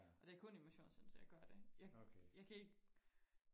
Og det kun i motionscenteret jeg gør det jeg jeg kan ikke